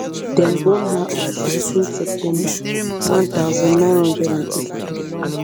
dem born her on sixteen september one thousand, nine hundred and eighty-three